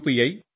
I you